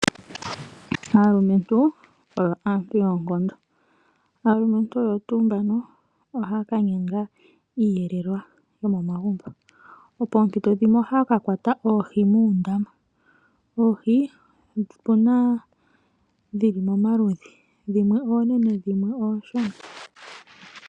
Aalumentu oyo aantu yoonkondo, aalumentu oyo tuu mbono ohaya kanyanga iiyelelwa yomomagumbo pompito dhimwe ohaya kakwata oohi moondama. Oohi odhili pamaludhi dhimwe oonene dhimwe oonshona.